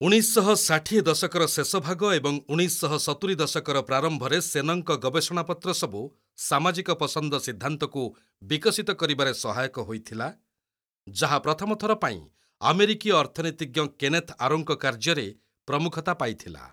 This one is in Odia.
ଉଣେଇଶହଷାଠିଏ ଦଶକର ଶେଷଭାଗ ଏବଂ ଉଣେଇଶହସତୁରି ଦଶକର ପ୍ରାରମ୍ଭରେ ସେନଙ୍କ ଗବେଷଣାପତ୍ର ସବୁ ସାମାଜିକ ପସନ୍ଦ ସିଦ୍ଧାନ୍ତକୁ ବିକଶିତ କରିବାରେ ସହାୟକ ହୋଇଥିଲା, ଯାହା ପ୍ରଥମ ଥର ପାଇଁ ଆମେରିକୀୟ ଅର୍ଥନୀତିଜ୍ଞ କେନେଥ୍ ଆରୋଙ୍କ କାର୍ଯ୍ୟରେ ପ୍ରମୁଖତା ପାଇଥିଲା।